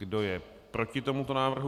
Kdo je proti tomuto návrhu?